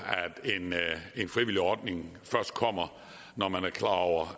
at en frivillig ordning først kommer når man er klar over